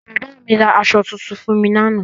Bàbá mi ra aṣọ tuntun fún mi lánàá